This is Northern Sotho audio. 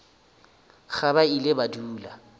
ge ba ile ba dula